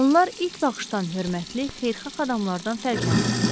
Onlar ilk baxışdan hörmətli, xeyirxah adamlardan fərqlənmirdilər.